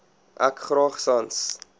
ek graag sans